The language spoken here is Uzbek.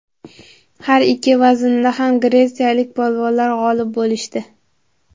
Har ikki vaznda ham gretsiyalik polvonlar g‘olib bo‘lishdi.